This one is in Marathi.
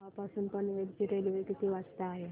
रोहा पासून पनवेल ची रेल्वे किती वाजता आहे